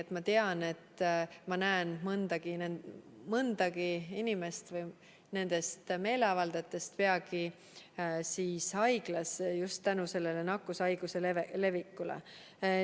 Tema kirjutas, et ta teab, et ta näeb nii mõndagi inimest nendestsamadest meeleavaldajatest peagi haiglas just seetõttu, et siin see nakkushaigus levibki.